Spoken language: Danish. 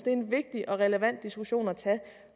er en vigtig og relevant diskussion at tage